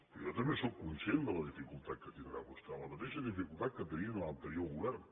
perquè jo també sóc conscient de la dificultat que tindrà vostè la mateixa dificultat que tenia l’anterior govern